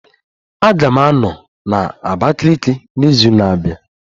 Aga m anọ na Abakiliki n'izu na-abịa